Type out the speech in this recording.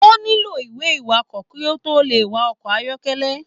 O nilo ìwé iwakọ ki o to le wa ọkọ ayọkẹlẹ.